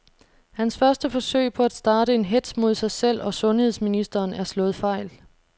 Hans første forsøg på at starte en hetz mod sig selv og sundheds ministeren er slået fejl.